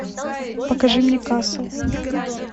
покажи мне касл